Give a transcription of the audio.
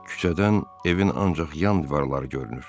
Küçədən evin ancaq yan divarları görünür.